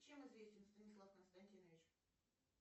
чем известен станислав константинович